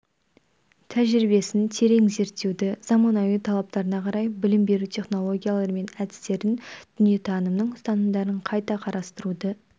тәжірибесін терең зерттеуді заманауи талаптарына қарай білім беру технологиялары мен әдістерін дүниетанымның ұстанымдарын қайта қарастыруды